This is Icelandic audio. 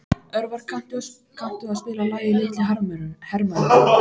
Örvar, kanntu að spila lagið „Litli hermaðurinn“?